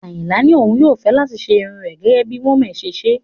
Ayinla ní òun yóò fẹ́ láti ṣe irun rẹ̀ gẹ́gẹ́ bí wome ṣe ń ṣe